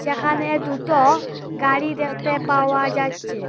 এখানে দুটো গাড়ি দেখতে পাওয়া যাচচে।